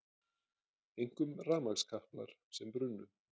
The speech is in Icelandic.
Einkum rafmagnskaplar sem brunnu